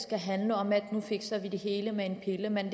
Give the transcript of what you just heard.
skal handle om at nu fikser vi det hele med en pille men